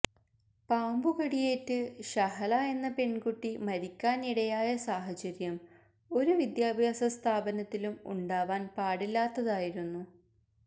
പാമ്പുകടിയേറ്റ് ഷഹല എന്ന പെൺകുട്ടി മരിക്കാനിടയായ സാഹചര്യം ഒരു വിദ്യാഭ്യാസ സ്ഥാപനത്തിലും ഉണ്ടാവാൻ പാടില്ലാത്തതായിരുന്നു